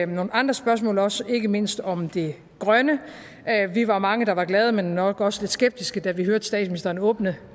nogle andre spørgsmål også ikke mindst om det grønne vi var mange der var glade men nok også lidt skeptiske da vi hørte statsministeren åbne